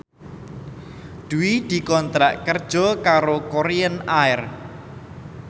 Dwi dikontrak kerja karo Korean Air